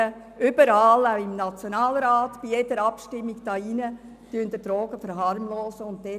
Aber überall, auch im Nationalrat und bei jeder Abstimmung hier drin, verharmlosen Sie die Drogen.